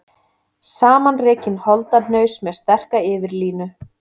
Samanrekinn holdahnaus með sterka yfirlínu.